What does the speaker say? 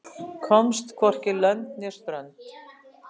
Komst hvorki lönd né strönd